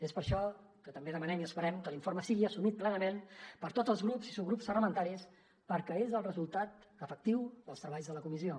és per això que també demanem i esperem que l’informe sigui assumit plenament per tots els grups i subgrups parlamentaris perquè és el resultat efectiu dels treballs de la comissió